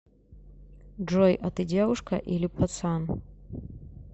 джой а ты девушка или пацан